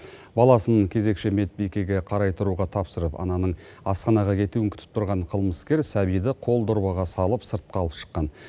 баласын кезекші медбикеге қарай тұруға тапсырып ананың асханаға кетуін күтіп тұрған қылмыскер сәбиді қолдорбаға салып сыртқа алып шыққан